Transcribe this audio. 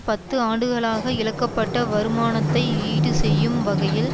பத்து ஆண்டுகளாக இழக்கப்பட்ட வருமானத்தை ஈடுசெய்யும் வகையில்